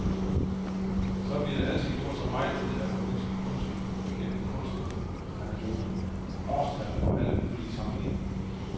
Så bliver der altid gjort så meget ud af at formidle kunsten gennem kunstneranekdoter, årstal og alle mulige sammenligninger.